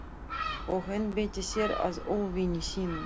Og einbeitti sér að óvini sínum.